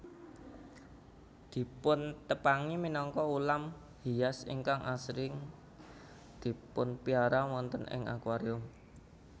Dipuntepangi minangka ulam hias ingkang asring dipunpiara wonten ing akuarium